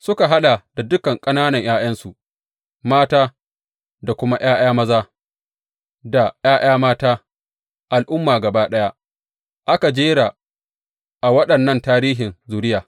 Suka haɗa da dukan ƙanana ’ya’yansu, mata, da kuma ’ya’ya maza da ’ya’ya mata, al’umma gaba ɗaya da aka jera a waɗannan tarihin zuriya.